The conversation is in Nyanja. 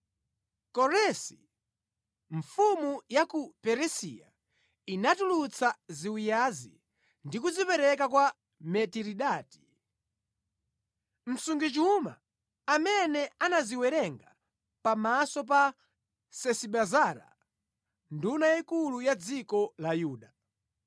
Koresi, mfumu ya ku Perisiya inatulutsa ziwiyazi ndi kuzipereka kwa Miteridati, msungichuma amene anaziwerenga pamaso pa Sesibazara nduna yayikulu ya dziko la Yuda.